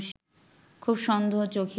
খুব সন্দোহ-চোখে